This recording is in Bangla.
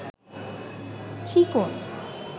চিকন